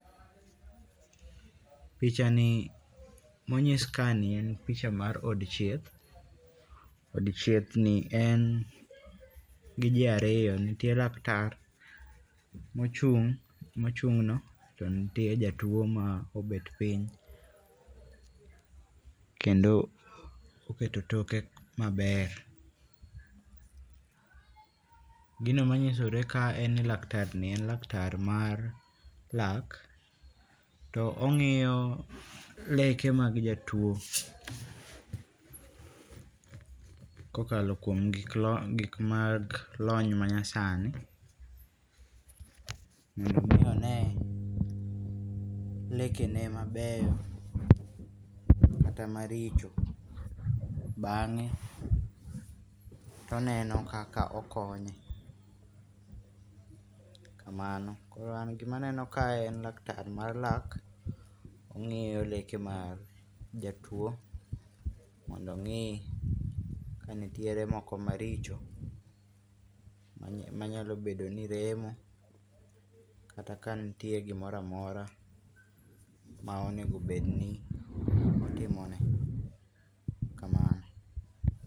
Pichani monyis kani en picha mar od thieth od thiethni en gi ji ariyo , nite lak tar mochu mochung'no to nitie jatuo ma obet piny kendo oketo toke maber gino manyisore kae en ni laktarni en laktar mar lak to ongi'yo leke mag jatuo kokalo gik lony ma nyasani mondo omi onee lekene maber kata maricho bange' toneno kaka okonye kamano, koro nan gimaneno kae en laktar mar lak ongi'yo leke mag jatuo mondo ongi' kanitiere moko maricho manyalobedo ni remo kata ka nitiere gimoro amora maonegobed ni otimone.